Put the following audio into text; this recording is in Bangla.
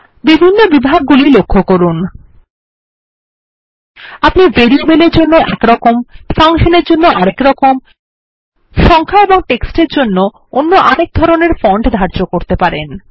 বিভিন্ন বিভাগ গুলি লক্ষ্য করুন আপনি ভেরিয়েবলের জন্য একপ্রকার ফাংশন এর জন্য আরেক প্রকার সংখ্যা এবং টেক্সট এর জন্য অন্য আরেক ধরনের ফন্ট ধার্য করতে পারেন